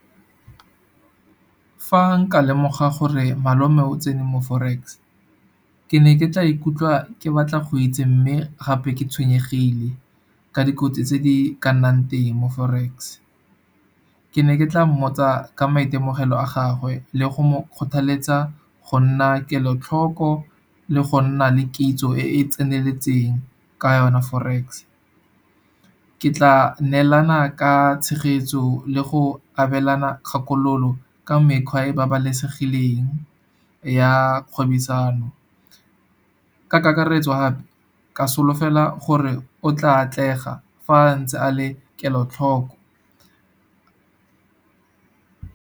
Fa nka lemoga gore malome o tsene mo Forex, ke ne ke tla ikutlwa ke batla go itse. Mme gape ke tshwenyegile ka dikotsi tse di ka nnang teng mo Forex. Ke ne ke tla mmotsa ka maitemogelo a gagwe le go mo kgothaletsa go nna kelotlhoko, le go nna le kitso e e tseneletseng ka yona Forex. Ke tla neelana ka tshegetso le go abelana kgakololo, ka mekgwa e babalesegileng ya kgwebisano. Ka kakaretso gape ke solofela gore o tla atlega fa a ntse a le kelotlhoko.